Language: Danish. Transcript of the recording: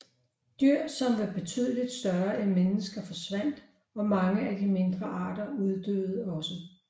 Dyr som var betydeligt større end mennesker forsvandt og mange af de mindre arter uddøde også